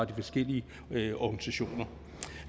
de forskellige organisationer